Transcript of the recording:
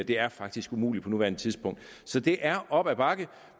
det er faktisk umuligt på nuværende tidspunkt så det er op ad bakke